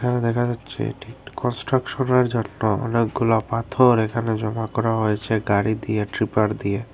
এখানে দেখা যাচ্ছে এটি একটি কনস্ট্রাকশনের জন্য অনেকগুলা পাথর এখানে জমা করা হয়েছে গাড়ি দিয়ে ট্রিপার দিয়ে।